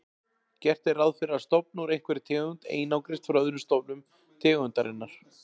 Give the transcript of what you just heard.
Gert er ráð fyrir að stofn úr einhverri tegund einangrist frá öðrum stofnum tegundarinnar.